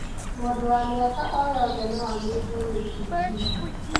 Mũndũ wa mĩaka o yothe no anyitwo nĩ TB.